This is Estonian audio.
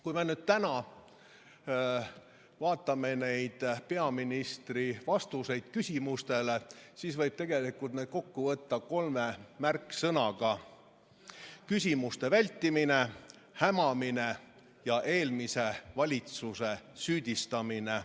Kui me vaatame tänaseid peaministri vastuseid küsimustele, siis näeme, et need võib tegelikult kokku võtta kolme märksõnaga: küsimuste vältimine, hämamine ja eelmise valitsuse süüdistamine.